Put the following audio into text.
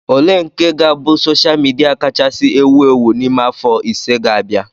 Ole nke ga-abụ sosha midia kachasị ewu ewu n'ime afọ ise ga-abia?